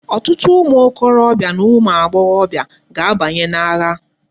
Otutu umu okorobia na umu agboghobia ga abanyi na agha